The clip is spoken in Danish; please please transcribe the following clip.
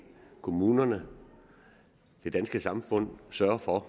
kommunerne det danske samfund sørge for